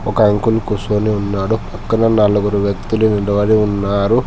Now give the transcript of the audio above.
ఒక అంకుల్ కుసోని ఉన్నాడు పక్కన నలుగురు వ్యక్తులు నిలబడి ఉన్నారు.